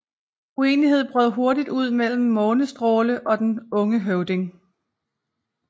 Uenigheder brød hurtigt ud mellem Månestråle og den unge høvding